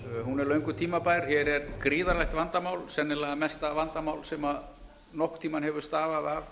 hún er löngu tímabær hér er gríðarlegt vandamál sennilega mesta vandamál sem nokkurn tíma hefur stafað